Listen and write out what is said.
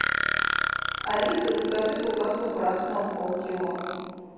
алиса закажи колбасу краснов пол кило